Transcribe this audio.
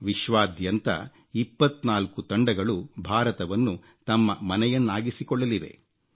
ವಿಶ್ವಾದ್ಯಂತ 24 ತಂಡಗಳು ಭಾರತವನ್ನು ತಮ್ಮ ಮನೆಯನ್ನಾಗಿಸಿಕೊಳ್ಳಲಿವೆ